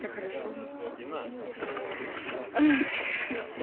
так хорошо мне стало блять ах